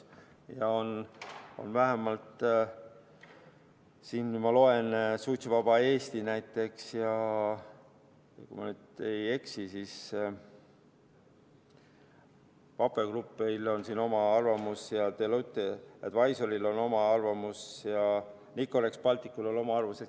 Ma loen, et näiteks Suitsuvabal Eestil, ja kui ma nüüd ei eksi, siis Vape Groupil on siin oma arvamus ja Deloitte Advisoryl on siin oma arvamus ja Nicorex Balticul on oma arvamus.